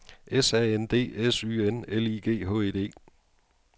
S A N D S Y N L I G H E D